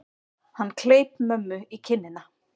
Hann kleip mömmu í kinnina.